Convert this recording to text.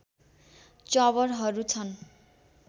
चबरहरू छन्